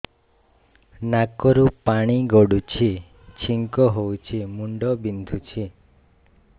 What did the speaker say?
ନାକରୁ ପାଣି ଗଡୁଛି ଛିଙ୍କ ହଉଚି ମୁଣ୍ଡ ବିନ୍ଧୁଛି